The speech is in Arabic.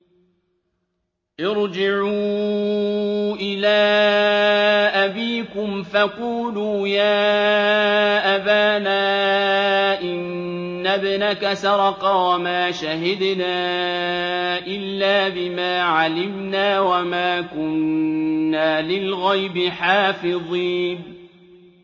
ارْجِعُوا إِلَىٰ أَبِيكُمْ فَقُولُوا يَا أَبَانَا إِنَّ ابْنَكَ سَرَقَ وَمَا شَهِدْنَا إِلَّا بِمَا عَلِمْنَا وَمَا كُنَّا لِلْغَيْبِ حَافِظِينَ